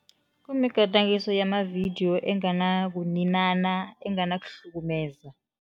Kumigadangiso yamavidiyo engenakuninana, enganakuhlukumeza.